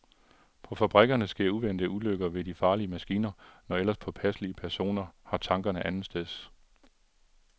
På fabrikkerne sker uventede ulykker ved de farlige maskiner, når ellers påpasselige personer har tankerne andetsteds.